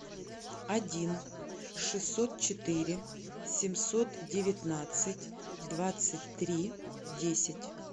один шестьсот четыре семьсот девятнадцать двадцать три десять